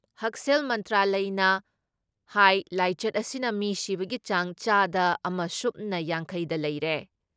ꯍꯛꯁꯦꯜ ꯃꯟꯇ꯭ꯔꯂꯌꯅ ꯍꯥꯏ ꯂꯥꯏꯆꯠ ꯑꯁꯤꯅ ꯃꯤ ꯁꯤꯕꯒꯤ ꯆꯥꯡ ꯆꯥꯗ ꯑꯃ ꯁꯨꯞꯅ ꯌꯥꯡꯈꯩ ꯗ ꯂꯩꯔꯦ ꯫